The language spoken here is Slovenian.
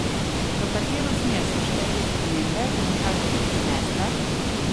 V katero smer so šle te spremembe in kaj bodo prinesle?